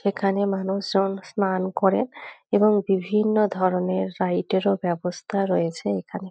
এখানে মানুষজন স্নান করে এবং বিভিন্ন ধরনের -এর বাবস্থা রয়েছে এখানে।